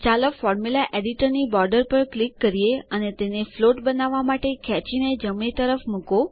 ચાલો ફોર્મ્યુલા એડિટરની બોર્ડર પર ક્લિક કરીએ અને તેને ફ્લોટ બનાવવા માટે ખેંચીને જમણી તરફ મુકો